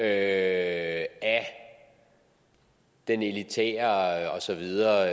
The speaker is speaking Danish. af den elitære og så videre